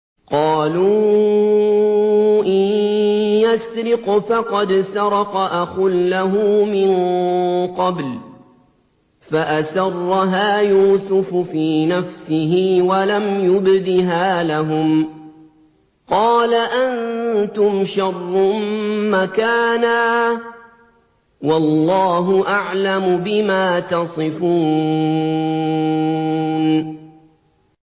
۞ قَالُوا إِن يَسْرِقْ فَقَدْ سَرَقَ أَخٌ لَّهُ مِن قَبْلُ ۚ فَأَسَرَّهَا يُوسُفُ فِي نَفْسِهِ وَلَمْ يُبْدِهَا لَهُمْ ۚ قَالَ أَنتُمْ شَرٌّ مَّكَانًا ۖ وَاللَّهُ أَعْلَمُ بِمَا تَصِفُونَ